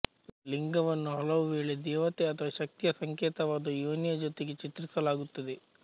ಲಿಂಗವನ್ನು ಹಲವುವೇಳೆ ದೇವತೆ ಅಥವಾ ಶಕ್ತಿಯ ಸಂಕೇತವಾದ ಯೋನಿಯ ಜೊತೆಗೆ ಚಿತ್ರಿಸಲಾಗುತ್ತದೆ